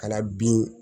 Ka na bin